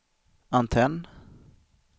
antenn